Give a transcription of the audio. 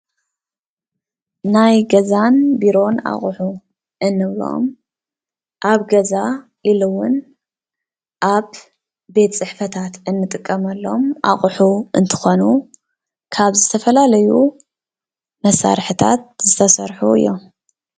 ናይ ገዛን ቢሮን ኣቑሑ እንብሎም ኣብ ገዛ ኢሉ እውን ኣብ ቤት ፅሕፈታት እንጥቀመሎም ኣቑሑ እንትኾኑ ካብ ዝተፈላለዩ መሳርሕታት ዝተሰርሑ እዮም።